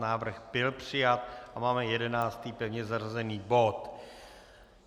Návrh byl přijat a máme 11. pevně zařazený bod.